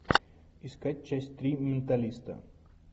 искать часть три менталиста